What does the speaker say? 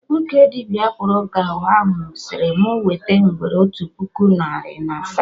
Nwoke dibịa akpụrụka ahụ sịrị mụ wete ngwere otu puku narị na asaa